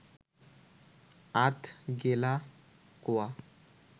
আধ গেলা কোয়া